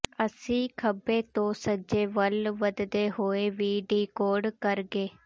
ਅਸੀਂ ਖੱਬੇ ਤੋਂ ਸੱਜੇ ਵੱਲ ਵਧਦੇ ਹੋਏ ਵੀ ਡੀਕੋਡ ਕਰਗੇ